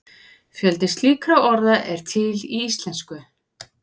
fjöldi slíkra orða er til í íslensku